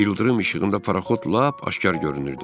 İldırım işığında paraxod lap aşkar görünürdü.